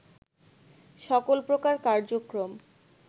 সকল প্রকার কার্যক্রম